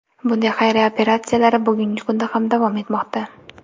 Bunday xayriya operatsiyalari bugungi kunda ham davom etmoqda.